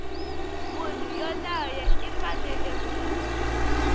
munhu yoloye u fanele ku